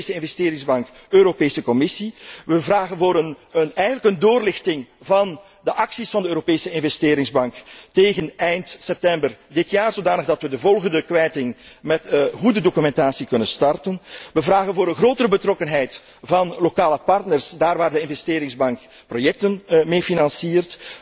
middelen. Europese Investeringsbank, Europese Commissie, we vragen eigenlijk om een doorlichting van de acties van de Europese Investeringsbank tegen eind september dit jaar ten einde de volgende kwijting met goede documentatie te kunnen starten, we vragen om een grotere betrokkenheid van lokale partners daar waar de Investeringsbank projecten meefinanciert,